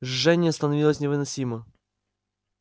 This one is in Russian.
жжение становилось невыносимо